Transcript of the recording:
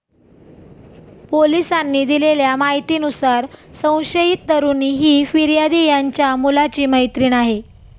पोलिसांनी दिलेल्या माहितीनुसार, संशयित तरुणी ही फिर्यादी यांच्या मुलाची मैत्रीण आहे.